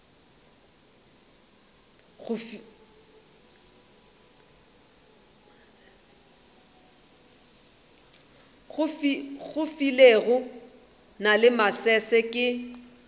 filego na le masese ke